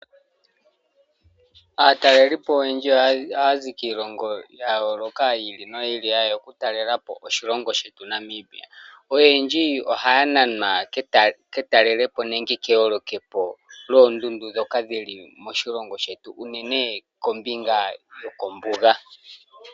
Aatalelipo oyendji ohaya zi kiilongo yayooloka yiili noyiili ha yeya okutalelapo oshilongo shetu Namibia . Oyendji ohaya nanwa ketalelepo nenge keholokepo lyoondudu dhoka dhili moshilongo shetu unene kombinga yokombuga.